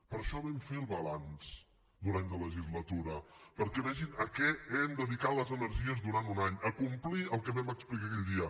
per això vam fer el balanç d’un any de legislatura perquè vegin a què hem dedicat les energies durant un any a complir el que vam explicar aquell dia